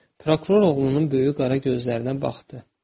Prokuror oğlunun böyük qara gözlərinə baxdı.